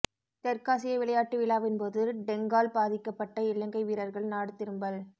தெற்காசிய விளையாட்டு விழாவின் போது டெங்கால் பாதிக்கப்பட்ட இலங்கை வீரர்கள் நாடு திரும்பல்